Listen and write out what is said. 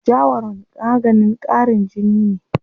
Jawaron maganin ƙarin jini ne.